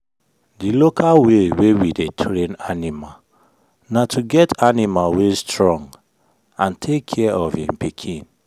the local way wey we dey train animal na to get animal wey strong and take care of en pikin.